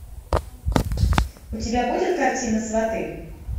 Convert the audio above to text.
у тебя будет картина сваты